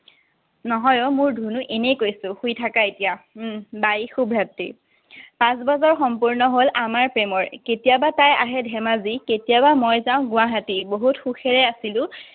নহয় অ' মোৰ ধুনু, এনেই কৈছো। শুই থাকা এতিয়া। উম Bye, শুভৰাত্ৰি। পাঁচ বছৰ সম্পূৰ্ণ হ'ল আমাৰ প্ৰেমৰ। কেতিয়াবা তাই আহে ধেমাজি, কেতিয়াবা মই যাওঁ গুৱাহাটী। বহুত সুখেৰে আছিলো।